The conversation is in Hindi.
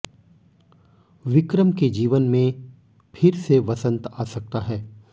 विक्रम के जीवन में फिर से वसंत आ सकता है